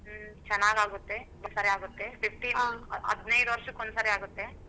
ಹ್ಮ್ ಚೆನ್ನಾಗ್ ಆಗುತ್ತೆ ಸಾರೆ ಆಗುತ್ತೆ fifteen ಹದ್ನೈದು ವರ್ಷಕ್ಕೆ ಒಂದ್ ಸರ್ತಿ ಆಗತ್ತೆ.